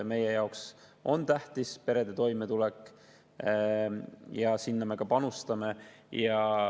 Meie jaoks on tähtis perede toimetulek ja sinna me ka panustame.